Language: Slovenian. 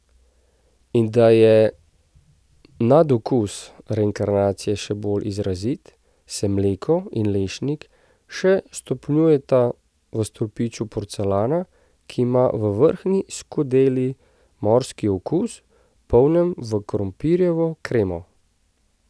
In da je nadokus reinkarnacije še bolj izrazit, se mleko in lešnik še stopnjujeta v stolpiču porcelana, ki ima v vrhnji skodeli morski okus, polnjen v krompirjevo kremo ...